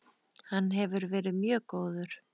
Hann hefur verið mjög góður.